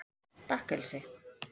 Bakkaseli